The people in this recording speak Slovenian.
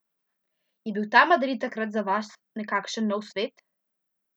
Je bil ta Madrid takrat za vas nekakšen nov svet?